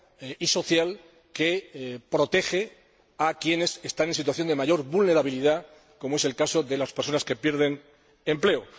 y social, que protege a quienes están en situación de mayor vulnerabilidad, como es el caso de las personas que pierden su empleo.